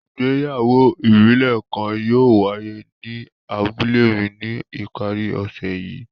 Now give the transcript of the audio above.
Ìgbéyàwó ibile kan yóò waiye ni abule mi ni ipari ọsẹ yii.